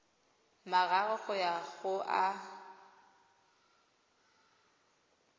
mararo go ya go a